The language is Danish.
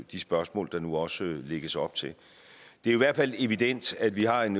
de spørgsmål der nu også lægges op til det er i hvert fald evident at vi har en